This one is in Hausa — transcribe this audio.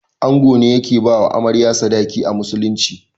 Ango ne yake bawa Amarya sadaki a musulunci.